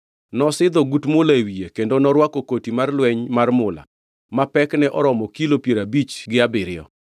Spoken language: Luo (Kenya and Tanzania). Nosidho ogut mula e wiye kendo norwako koti mar lweny mar mula ma pekne oromo kilo piero abich gi abiriyo,